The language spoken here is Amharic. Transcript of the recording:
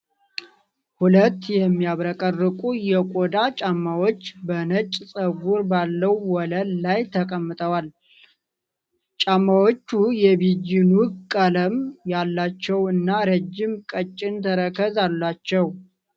ሁለት የሚያብረቀርቁ የቆዳ ጫማዎች በነጭ ፀጉር ባለው ወለል ላይ ተቀምጠው። ጫማዎቹ የቢጂ ኑድ ቀለም ያላቸው እና ረጅም፣ ቀጭን ተረከዝ አላቸው።